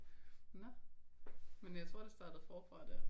Nå men jeg tror det startede forfra der